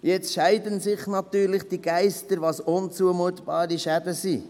Jetzt scheiden sich natürlich die Geister, was unzumutbare Schäden sind.